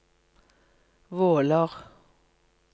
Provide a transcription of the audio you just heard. Våler